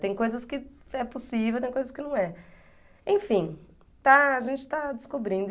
Tem coisas que é possível, tem coisas que não é. Enfim, está, a gente está descobrindo.